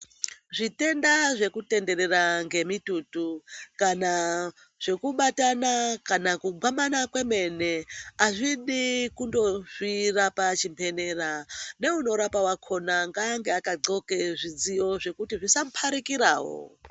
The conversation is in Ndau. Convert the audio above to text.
Zvitenda zvekutenderera ne mututu kana zvekubatana kana kugwamana kwemene hazvidi kundozizvira pazvibhedhlera neanorapawo ngaange aka goxe zvidziyo zvekuti zviasa muparikirawo.